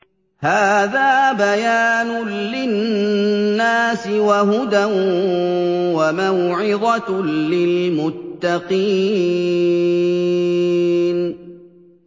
هَٰذَا بَيَانٌ لِّلنَّاسِ وَهُدًى وَمَوْعِظَةٌ لِّلْمُتَّقِينَ